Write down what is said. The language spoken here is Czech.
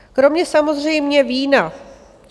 Kromě samozřejmě vína.